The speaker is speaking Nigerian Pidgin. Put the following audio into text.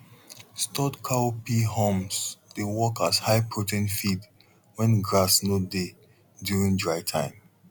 stored cowpea haulms dey work as high protein feed when grass no dey during dry time